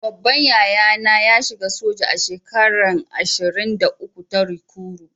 Babban yaya na ya shiga soja a shekara ashirin-da- uku ta rikuru.